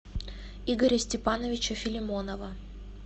игоря степановича филимонова